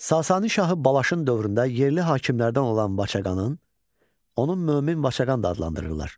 Sasani şahı Balaşın dövründə yerli hakimlərdən olan Vaçaqanın, onun Mömin Vaçaqan da adlandırırlar.